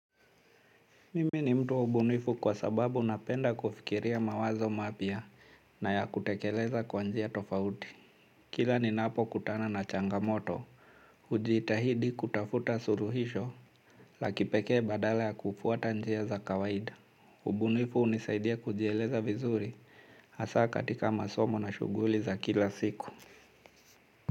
Mimi ni mtu wa ubunifu kwa sababu napenda kufikiria mawazo mapya na ya kutekeleza kwa njia tofauti. Kila ninapokutana na changamoto, hujitahidi kutafuta suluhisho, la kipekee badala ya kufuata njia za kawaida. Ubunifu hunisaidia kujieleza vizuri, hasa katika masomo na shughuli za kila siku.